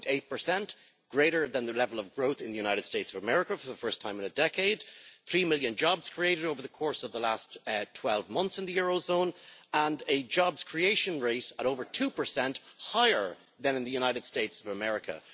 1.8, greater than the level of growth in the United States of America for the first time in a decade three million jobs were created over the course of the last 12 months in the eurozone, a job creation rate more than 2 higher than in the United States of America.